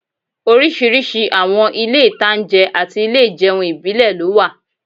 Oríṣiríṣi àwọn ilé-ìtańjẹ àti ilé ìjẹun ìbílẹ̀ ló wà